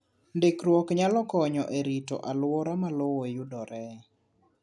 Ndikruok nyalo konyo e rito alwora ma lowo yudoree